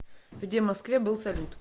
где в москве был салют